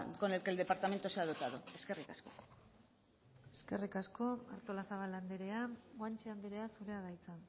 con el que el departamento se ha dotado eskerrik asko eskerrik asko artolazabal andrea guanche andrea zurea da hitza